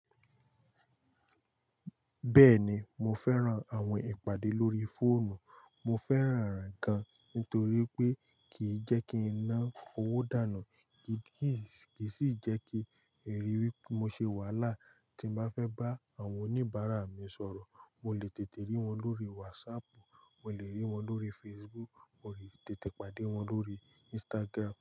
Bẹ́ẹ̀ni, mo fẹ́ran àwọn ìpàdé lórí fóònù. Mo fẹ́ràn rẹ̀ gan nítorí pé kìí jẹ́ kí n ná owó dànù, kì í sì jẹ́ kí èrí wí pé mo ṣe wàhálà tí bá fẹ́ bá àwọn oníbàárà mi sọ̀rọ̀. Mo lè tètè rí wọn lórí WhatsApp, mo lè rí wọn lórí Facebook, mo lè tètè pàdé wọn lórí Instagram.